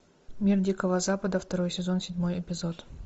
мир дикого запада второй сезон седьмой эпизод